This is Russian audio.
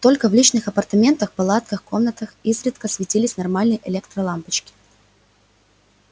только в личных апартаментах палатках комнатах изредка светились нормальные электролампочки